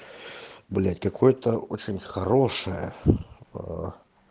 блять какой-то очень хорошая